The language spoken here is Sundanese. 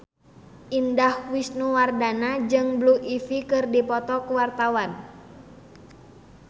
Indah Wisnuwardana jeung Blue Ivy keur dipoto ku wartawan